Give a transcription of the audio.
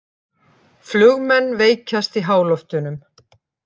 Flugmenn veikjast í háloftunum